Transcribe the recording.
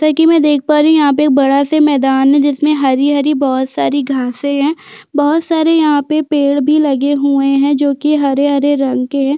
जोकि मैं देख पा रही हूँ यहाँ पे बड़ा -सा मैदान है जिसमें हरी- हरी बोहोत सारी घासे है बोहोत सारे यहाँ पे पेड़ भी लगे हुए है जोकि हरे -हरे रंग के हैं।